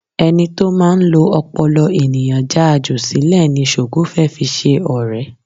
Ẹni tó máa ń lo ọpọlọ ènìyàn já a jù sílẹ̀ ni Ṣògo fẹ́ fi ṣe ọrẹ